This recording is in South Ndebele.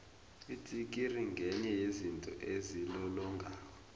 itsikiri ngenye yezinto ezilolongako